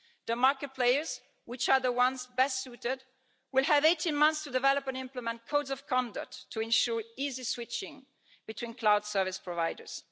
The market players, which are the ones best suited, will have 18 months to develop and implement codes of conduct to ensure easy switching between cloud service providers.